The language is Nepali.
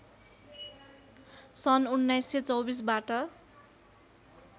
सन् १९२४ बाट